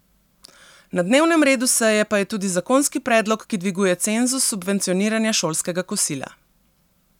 Na dnevnem redu seje pa je tudi zakonski predlog, ki dviguje cenzus subvencioniranja šolskega kosila.